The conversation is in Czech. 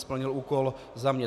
Splnil úkol za mě.